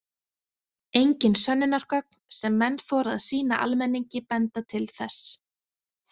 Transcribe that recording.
Engin sönnunargögn sem menn þora að sýna almenningi benda til þess.